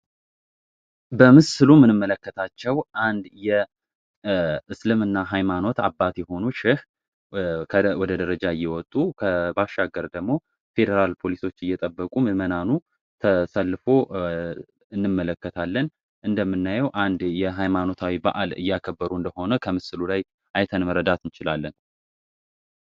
በሙስሊም የምንመለከታቸው አንድ የእስልምና ሃይማኖት አባት የሆኑ ሼህ ወደ ደረጃ እየወጡ ባሻገር ደግሞ ፌደራል ፖሊሶች እየጠበቁ ምእመናኑ ተሰልፎን እንመለከታለን እንደምናየው አንድ ሃይማኖታዊ በአል እያከበሩ እንደሆነ አይተን መረዳት እንችላለን።